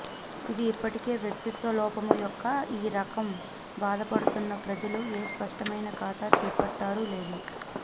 ఇది ఇప్పటికీ వ్యక్తిత్వ లోపము యొక్క ఈ రకం బాధపడుతున్న ప్రజలు ఏ స్పష్టమైన ఖాతా చేపట్టారు లేదు